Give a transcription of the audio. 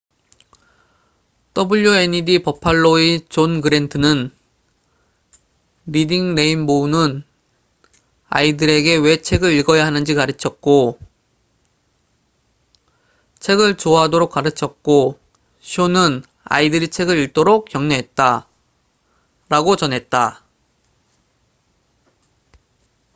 "wned 버팔로리딩 레인보우의 채널사의 존 그랜트는 "리딩 레인보우는 아이들에게 왜 책을 읽어야 하는지 가르쳤고,... 책을 좋아하도록 가르쳤고 - [쇼는] 아이들이 책을 읽도록 격려했다""라고 전했다.